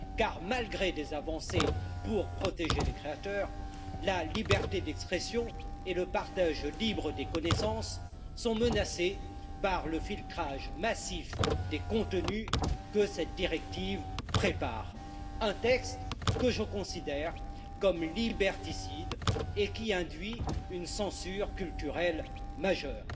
Car, malgré des avancées pour protéger les créateurs, la liberté d'expression et le partage libre des connaissances sont menacés par le filtrage massif des contenus que cette directive prépare, un texte que je considère comme liberticide et qui induit une censure culturelle majeure.